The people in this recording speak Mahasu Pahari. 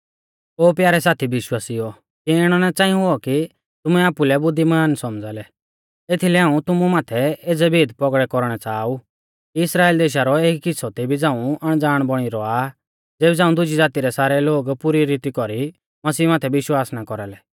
ओ प्यारै साथी विश्वासिउओ किऐ इणौ ना च़ांई हुऔ कि तुमै आपुलै बुद्धिमान सौमझ़ा लै एथीलै हाऊं तुमु माथै एज़ै भेद पौगड़ै कौरणै च़ाहा ऊ कि इस्राइल देशा रौ एक हिस्सौ तेबी झ़ाऊं अणज़ाण बौणी रौआ आ ज़ेबी झ़ांऊ दुजी ज़ाती रै सारै लोग पुरी रीती कौरी मसीह माथै विश्वास ना कौरालै